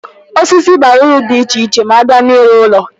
Osisi bara uru di iche iche ma abịa na-ịrụ ụlọ.